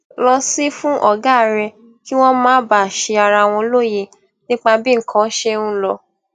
lọ sí fún ògá rè kí wón má bàa ṣi ara wọn lóye nípa bí nǹkan ṣe ń lọ